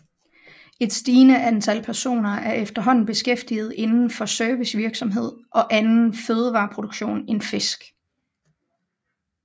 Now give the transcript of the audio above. Et stigende antal personer er efterhånden beskæftiget inden for servicevirksomhed og anden fødevareproduktion end fisk